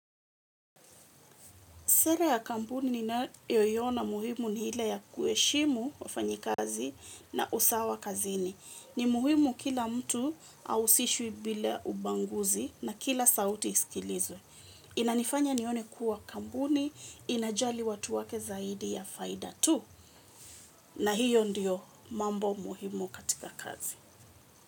Sera ya kampuni niyoiona muhimu ni ile ya kueshimu wafanyikazi na usawa kazini. Ni muhimu kila mtu ausishwi bila ubanguzi na kila sauti isikilizwe. Inanifanya nione kuwa kampuni inajali watu wake zaidi ya faida tu na hiyo ndiyo mambo muhimu katika kazi.